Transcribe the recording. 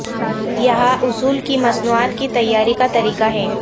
یہاں اصول کی مصنوعات کی تیاری کا طریقہ ہے